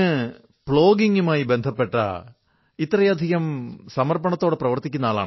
അങ്ങ് പ്ലോഗിംഗുമായി ബന്ധപ്പെട്ട ഇത്രയധികം സമർപ്പണത്തോടെ പ്രവർത്തിക്കുന്നു